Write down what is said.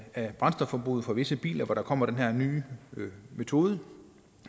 af brændstofforbruget for visse biler hvor der kommer den her nye metode